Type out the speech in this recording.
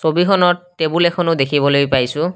ছবিখনত টেবুল এখনো দেখিবলৈ পাইছোঁ।